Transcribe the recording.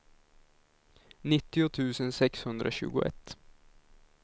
nittio tusen sexhundratjugoett